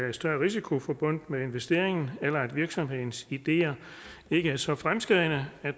er større risiko forbundet med investeringen eller at virksomhedens ideer ikke er så fremskredne at